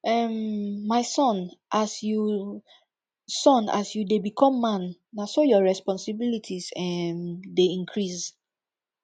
um my son as you son as you dey become man na so your responsilities um dey increase